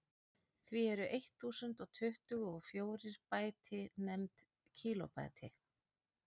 því eru eitt þúsund og tuttugu og fjórir bæti nefnd kílóbæti